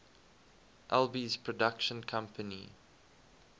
alby's production company